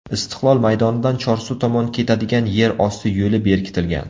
Istiqlol maydonidan Chorsu tomon ketadigan yer osti yo‘li berkitilgan.